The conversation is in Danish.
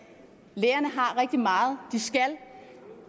lærerne har rigtig meget de skal